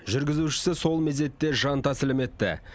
жүргізушісі сол мезетте жан тәсілім етті